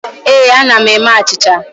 Ee, ana m eme achịcha.